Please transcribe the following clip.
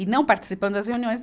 E não participando das reuniões.